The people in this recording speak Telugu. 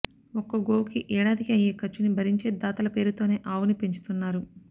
ఒక్కో గోవుకి ఏడాదికి అయ్యే ఖర్చుని భరించే దాతల పేరుతోనే ఆవుని పెంచుతున్నారు